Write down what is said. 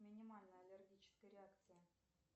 минимальная аллергическая реакция